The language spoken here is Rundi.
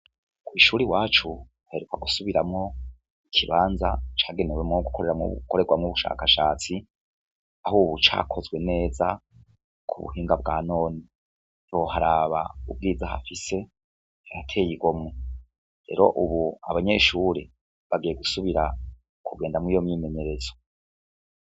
Kw'ishure iwacu haheruka gusubiramwo ikibanza cagenewe gukorerwamwo ubushakashatsi, aho ubu cakozwe neza k'ubuhinga bwa none, ntiwoharaba ubwiza hafise harateye igomwe, rero ubu abanyeshure bagiye gusubira kugenda muriyo myimenyerezo.